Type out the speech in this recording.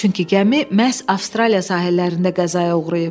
Çünki gəmi məhz Avstraliya sahillərində qəzaya uğrayıb.